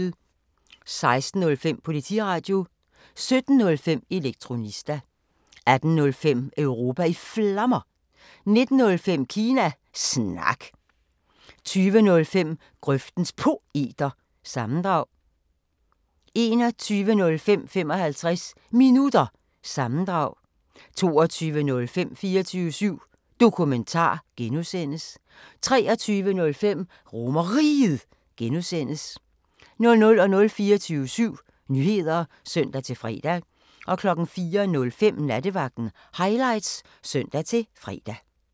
16:05: Politiradio 17:05: Elektronista 18:05: Europa i Flammer 19:05: Kina Snak 20:05: Grøftens Poeter – sammendrag 21:05: 55 Minutter – sammendrag 22:05: 24syv Dokumentar (G) 23:05: RomerRiget (G) 00:00: 24syv Nyheder (søn-fre) 04:05: Nattevagten Highlights (søn-fre)